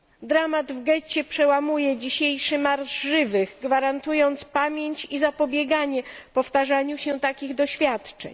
Dramat w getcie przełamuje dzisiejszy Marsz Żywych, gwarantując pamięć i zapobieganie powtarzaniu się takich doświadczeń.